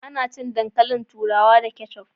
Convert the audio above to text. Ana cin dankalin turawa da keccuf